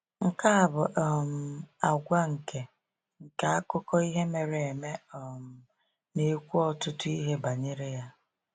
Nke a bụ um àgwà nke nke akụkọ ihe mere eme um na-ekwu ọtụtụ ihe banyere ya.